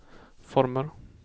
former